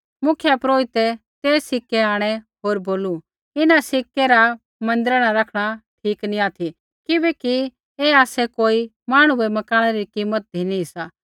मुख्यपुरोहिता ते सिक्कै आंणै होर बोलू इन्हां सिक्कै रा मन्दिरा न रखणा ठीक नी ऑथि किबैकि ऐ आसै कोई मांहणु बै मकाणै री कीमत धिनी सा